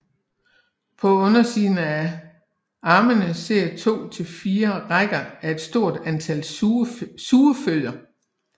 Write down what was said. På undersiden af armene sidder to til fire rækker af et stort antal sugefødder